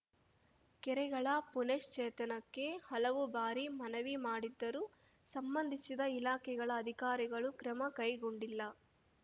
ಕೆರೆಗಳ ಪುನಶ್ಚೇತನಕ್ಕೆ ಹಲವು ಬಾರಿ ಮನವಿ ಮಾಡಿದ್ದರೂ ಸಂಬಂಧಿಸಿದ ಇಲಾಖೆಗಳ ಅಧಿಕಾರಿಗಳು ಕ್ರಮ ಕೈಗೊಂಡಿಲ್ಲ